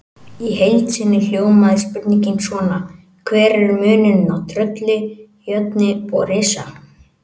Í heild sinni hljómaði spurningin svona: Hver er munurinn á trölli, jötni og risa?